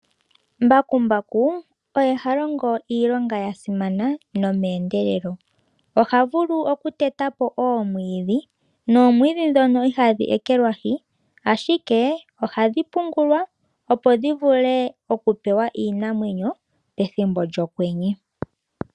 Mbakumbaku oha longo iilonga ya simana nomeendelelo. Oha vulu okuteta po oomwiidhi noomwiidhi ndhono ihadhi ekelwahi, ashike ohadhi pungulwa , opo dhi vule okupewa iinamwenyo pethimbo lyokwenye.